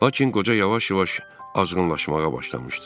Lakin qoca yavaş-yavaş azğınlaşmağa başlamışdı.